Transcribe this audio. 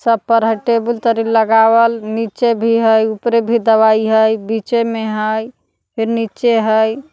सब पर है टेबुल तरे लगावल निचे भी हय उपरे भी दवाई हय बीच में हय फिर निचे हय।